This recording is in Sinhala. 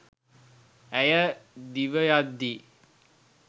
ඇය දිවයද්දී